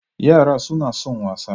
Yara suna son wasa.